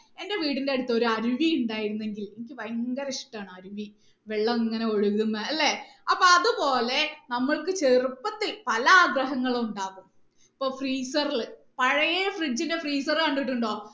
എന്റെ വീടിന്റെ അടുത്ത് ഒരു അരുവി ഉണ്ടായിരുന്നെങ്കിൽ എനിക്ക് ഭയങ്കര ഇഷ്ട്ടമാണ് അരുവി വെള്ളം ഇങ്ങനെ ഒഴുകുന്നെ അല്ലെ അപ്പൊ അതുപോലെ നമുക്ക് ചെറുപ്പത്തിൽ പല ആഗ്രഹങ്ങളും ഉണ്ടാവും ഇപ്പൊ freezer ൽ പഴയ fridge ന്റെ freezer കണ്ടിട്ടുണ്ടോ